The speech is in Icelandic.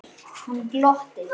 Hann glotti.